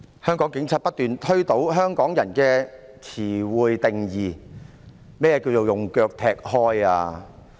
香港警察不斷推倒香港人對日常用語的定義，何謂"用腳推開"？